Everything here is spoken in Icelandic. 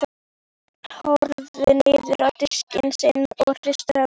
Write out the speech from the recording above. Örn horfði niður á diskinn sinn og hristi höfuðið.